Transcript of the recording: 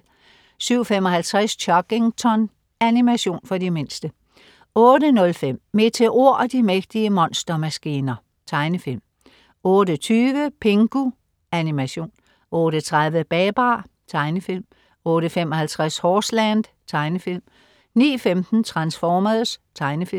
07.55 Chuggington. Animation for de mindste 08.05 Meteor og de mægtige monstermaskiner. Tegnefilm 08.20 Pingu. Animation 08.30 Babar. Tegnefilm 08.55 Horseland. Tegnefilm 09.15 Transformers. Tegnefilm